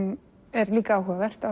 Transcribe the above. er líka áhugavert á